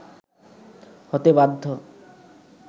হতে বাধ্য